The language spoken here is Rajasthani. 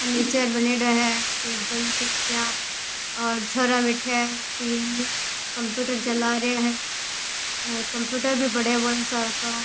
फर्नीचर बनेड़ा है टेबल कुर्सियां और छोरा बैठ्या है तीन कंप्यूटर चला रया है और कंप्यूटर भी पड़े है बौला सार का।